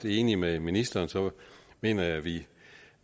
enig med ministeren mener jeg at vi